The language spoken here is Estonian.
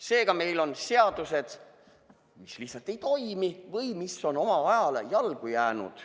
Seega, meil on seadused, mis lihtsalt ei toimi või mis on oma ajale jalgu jäänud.